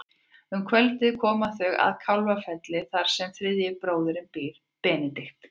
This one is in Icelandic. Um kvöldið koma þau að Kálfafelli þar sem þriðji bróðirinn býr, Benedikt.